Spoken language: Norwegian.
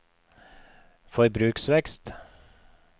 forbruksvekst